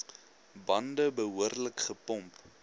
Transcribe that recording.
bande behoorlik gepomp